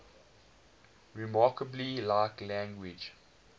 remarkably like language